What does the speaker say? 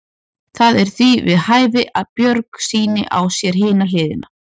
Það er því við hæfi að Björg sýni á sér hina hliðina.